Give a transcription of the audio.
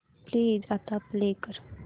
please आता play कर